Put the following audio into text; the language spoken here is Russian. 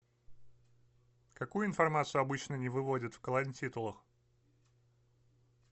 какую информацию обычно не выводят в колонтитулах